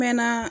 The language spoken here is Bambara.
Mɛ na